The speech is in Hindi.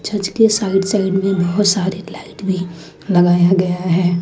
इसके साइड साइड में बहुत सारे लाइट भी लगाया गया हैं।